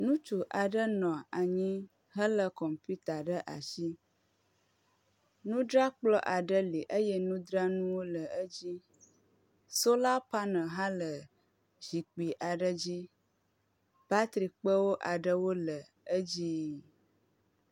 Ŋutsu aɖe nɔ anyi hele kɔmputa ɖe asi. Nudzrakplɔ aɖe li eye nudzanuwo le edzi. Sola panel hã le zikpi aɖe dzi. Batri kpe aɖewo le edzi.